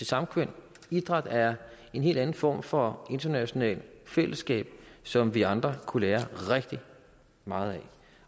samkvem idræt er en helt anden form for internationalt fællesskab som vi andre kunne lære rigtig meget af